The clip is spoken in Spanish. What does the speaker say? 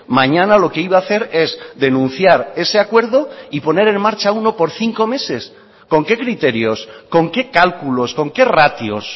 mañana lo que iba a hacer es denunciar ese acuerdo y poner en marcha uno por cinco meses con qué criterios con qué cálculos con qué ratios